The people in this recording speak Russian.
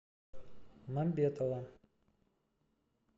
мамбетова